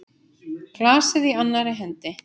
Glasið í annarri hendi.